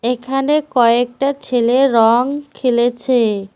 এখানে কয়েকটা ছেলে রং খেলেছে।